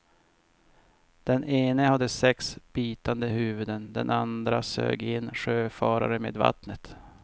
Den ena hade sex bitande huvuden, den andra sög in sjöfarare med vattnet.